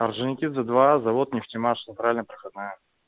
орджоникидзе два завод нефтемаш центральная проходная